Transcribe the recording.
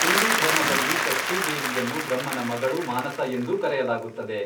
ಹಿಂದೂ ಧರ್ಮದಲ್ಲಿ, ಷಷ್ಠೀ ದೇವಿಯನ್ನು ಬ್ರಹ್ಮನ ಮಗಳು ಮಾನಸ ಎಂದೂ ಕರೆಯಲಾಗುತ್ತದೆ.